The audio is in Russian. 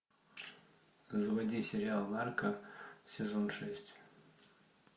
заводи сериал нарко сезон шесть